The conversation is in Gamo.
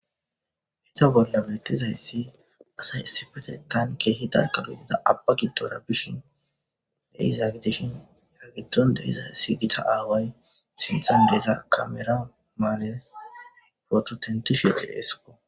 hita bolla beettizayssi asay issifete taan keehi darkalo diza abba giddora bishin neizaa gidishin hagiddon dehiza siygita aaway sinton deiza kamera maale fototintish yote heessiko